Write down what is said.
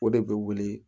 O de bɛ wuli